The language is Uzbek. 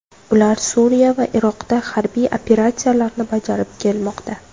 Ular Suriya va Iroqda harbiy operatsiyalarni bajarib kelmoqda.